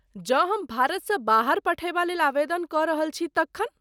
जँ हम भारतसँ बाहर पठयबा लेल आवेदन कऽ रहल छी तखन?